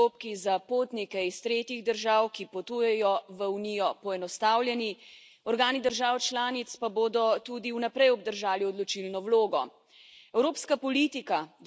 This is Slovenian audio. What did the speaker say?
Če jih sprejmemo, bodo postopki za potnike iz tretjih držav, ki potujejo v Unijo, poenostavljeni, organi držav članic pa bodo tudi naprej obdržali odločilno vlogo.